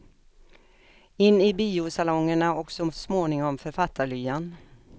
In i biosalongerna och så småningom författarlyan.